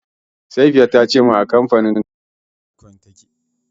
Safiya ta ce min yanzu a kamfanin kasuwancin Bitcoin take.